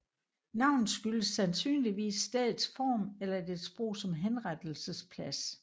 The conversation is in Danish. Navnet skyldes sandsynligvis stedets form eller dets brug som henrettelsesplads